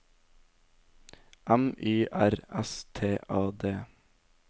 M Y R S T A D